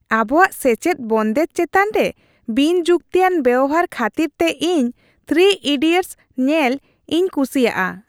ᱟᱵᱚᱣᱟᱜ ᱥᱮᱪᱮᱫ ᱵᱚᱱᱫᱮᱡ ᱪᱮᱛᱟᱱ ᱨᱮ ᱵᱤᱱᱼᱡᱩᱠᱛᱤᱭᱟᱱ ᱵᱮᱣᱦᱟᱨ ᱠᱷᱟᱹᱛᱤᱨᱛᱮ ᱤᱧ "᱓ ᱤᱰᱤᱭᱚᱴᱥ "ᱧᱮᱞ ᱤᱧ ᱠᱩᱥᱤᱭᱟᱜᱼᱟ ᱾